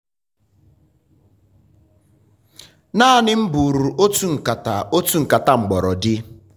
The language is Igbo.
naanị m buru otu nkata otu nkata mgbọrọdi.